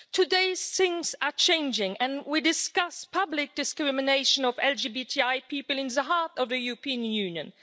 Today, things are changing and we discuss public discrimination of LGBTI people in the heart of the European Union.